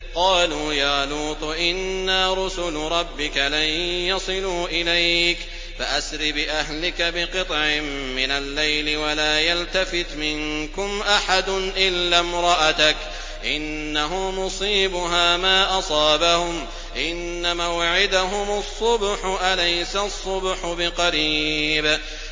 قَالُوا يَا لُوطُ إِنَّا رُسُلُ رَبِّكَ لَن يَصِلُوا إِلَيْكَ ۖ فَأَسْرِ بِأَهْلِكَ بِقِطْعٍ مِّنَ اللَّيْلِ وَلَا يَلْتَفِتْ مِنكُمْ أَحَدٌ إِلَّا امْرَأَتَكَ ۖ إِنَّهُ مُصِيبُهَا مَا أَصَابَهُمْ ۚ إِنَّ مَوْعِدَهُمُ الصُّبْحُ ۚ أَلَيْسَ الصُّبْحُ بِقَرِيبٍ